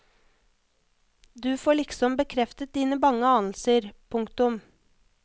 Du får liksom bekreftet dine bange anelser. punktum